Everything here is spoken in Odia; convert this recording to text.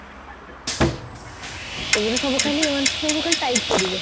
ଏବେ ତ ସବୁ ଖାଲି ଏମାନେ ସବୁ ଖାଲି type କରିବେ